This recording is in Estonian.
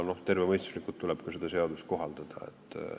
Tervemõistuslikult tuleb ka seda seadust kohaldada.